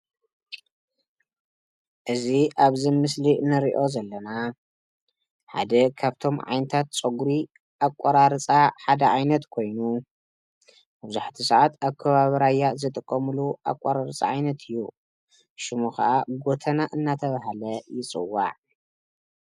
እዚ አብዚ ምስሊ እንሪኦ ዘለና ሓደ ካብቶም ዓይነታት ፀጉሪ አቆራርፃ ሓደ ዓይነት ኮይኑ መብዛሕቲአ ስዓት አብ ከባቢ ራያ ዝጥቀመሉ አቆራርፃ ዓይነት እዩ፡፡ ሽሙ ካዓ ጎተና እናተባህለ ይፀዋዕ፡፡